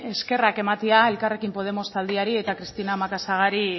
eskerrak ematea elkarrekin podemos taldeari eta cristina macazagari